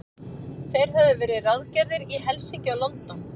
Þeir höfðu verið ráðgerðir í Helsinki og London.